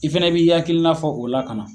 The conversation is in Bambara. I fɛnɛ b'i hakilina fɔ o la ka na.